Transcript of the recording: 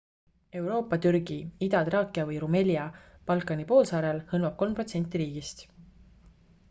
euroopa türgi ida-traakia või rumelia balkani poolsaarel hõlmab 3% riigist